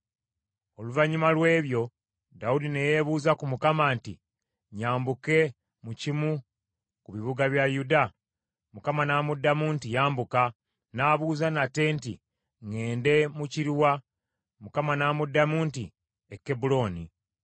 Oluvannyuma lw’ebyo Dawudi ne yeebuuza ku Mukama nti, “Nyambuke mu kimu ku bibuga bya Yuda?” Mukama n’amuddamu nti, “Yambuka.” N’abuuza nate nti, “Ŋŋende mu kiruwa?” Mukama n’amuddamu nti, “E Kebbulooni.”